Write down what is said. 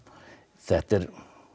þetta er